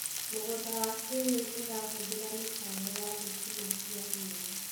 Mũgũnda wa kĩrĩu ũrahũthĩra mĩtambo ya thitima cia riũa.